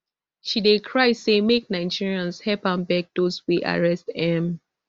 she dey cry say make nigerians help am beg dos wey arrest um